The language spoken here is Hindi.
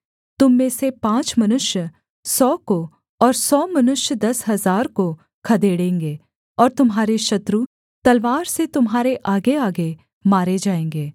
तुम में से पाँच मनुष्य सौ को और सौ मनुष्य दस हजार को खदेड़ेंगे और तुम्हारे शत्रु तलवार से तुम्हारे आगेआगे मारे जाएँगे